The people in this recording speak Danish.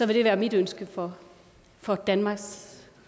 vil det være mit ønske for for danmarks